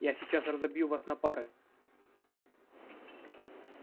я сейчас разобью вас на пары